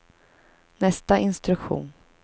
nästa instruktion